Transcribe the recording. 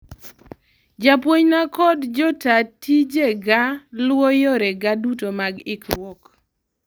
Japuonjna kod jotaa tijega luwo yore ga duto mag ikruok